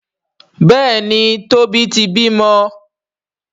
Béèni Tobi tí bímọ.